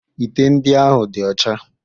Ite ndị ahụ dị ọcha